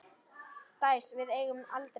Dæs, við eigum aldrei séns!